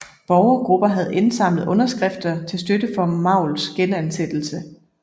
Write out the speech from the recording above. Borgergrupper havde indsamlet underskrifter til støtte for Mauls genansættelse